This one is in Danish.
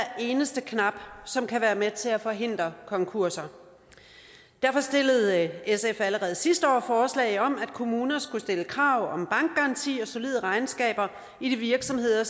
eneste knap som kan være med til at forhindre konkurser derfor stillede sf allerede sidste år forslag om at kommuner skulle stille krav om bankgaranti og solide regnskaber i de virksomheder